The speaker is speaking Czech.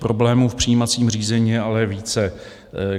Problémů v přijímacím řízení je ale více.